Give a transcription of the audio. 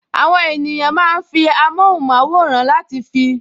Àwọn ènìyàn máa ń fi amóhùnmáwòrán láti fi